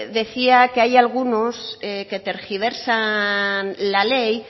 decía que hay algunos que tergiversan la ley